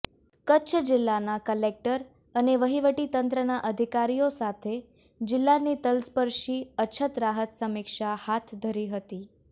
કચ્છ જિલ્લાના કલેક્ટર અને વહીવટીતંત્રના અધિકારીઓ સાથે જિલ્લાની તલસ્પર્શી અછત રાહત સમીક્ષા હાથ ધરી હતી